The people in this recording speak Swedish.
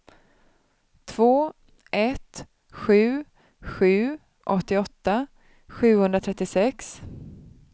två ett sju sju åttioåtta sjuhundratrettiosex